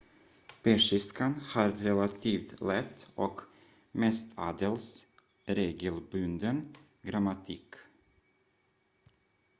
persiskan har relativt lätt och mestadels regelbunden grammatik